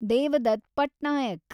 Devdutt Patnaik